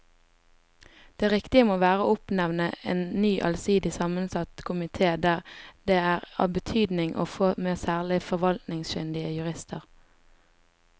Det riktige må være å oppnevne en ny allsidig sammensatt komite der det er av betydning å få med særlig forvaltningskyndige jurister.